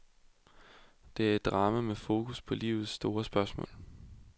Det er et drama med fokus på livets store spørgsmål.